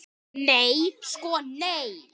Nei sko nei.